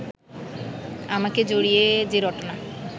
আমাকে জড়িয়ে যে রটনা